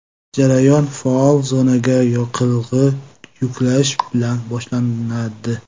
Jarayon faol zonaga yoqilg‘i yuklash bilan boshlanadi.